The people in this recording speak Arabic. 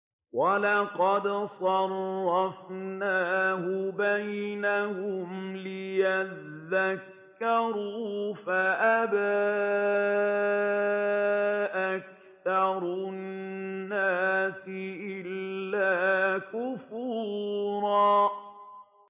وَلَقَدْ صَرَّفْنَاهُ بَيْنَهُمْ لِيَذَّكَّرُوا فَأَبَىٰ أَكْثَرُ النَّاسِ إِلَّا كُفُورًا